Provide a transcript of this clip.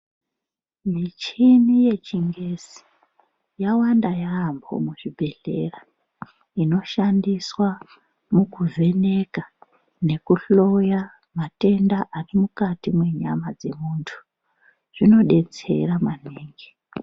Michini yechiNgezi yawanda yaambo muzvibhedhleya. Inoshandiswa mukuvheneka nekuhloya matenda ari mwumati mwenyama dzemuntu, zvinodetsera maningi.